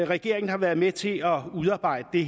regeringen har været med til at udarbejde